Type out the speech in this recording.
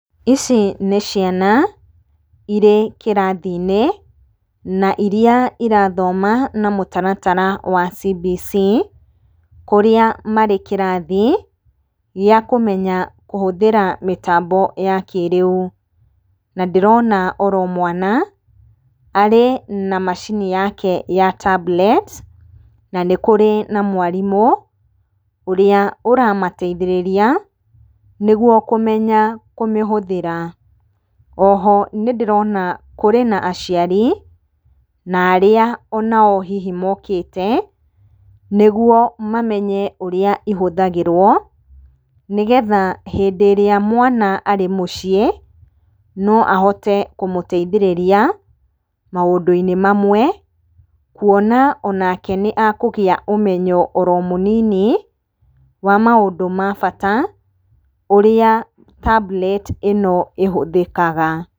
Ici nĩ ciana irĩ kĩrathinĩ, na iria irathoma na mũtaratara wa CBC, kũrĩa marĩ kĩrathi gĩa kũmenya kũhũthĩra mĩtambo ya kĩrĩu. Na ndĩrona oro mwana arĩ na macini yake ya tablet, na nĩ kũrĩ na mwarimũ, ũrĩa ũramateithĩrĩria nĩguo kũmenya kũmĩhũthĩra. Oho nĩndĩrona kũrĩ na aciari, na arĩa onao hihi mokĩte nĩguo mamenye ũrĩa ihũthagĩrwo. Nĩ getha hĩndĩ ĩrĩa mwana arĩ mũciĩ no ahote kũmũteithĩrĩria maũndũ-inĩ mamwe, kuona onake nĩakũgĩa ũmenyo oro mũnini wa maũndũ ma bata, ũrĩa tablet ĩno ĩhũthĩkaga.